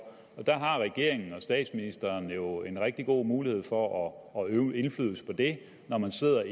regeringen og statsministeren har jo en rigtig god mulighed for at øve indflydelse på det når man sidder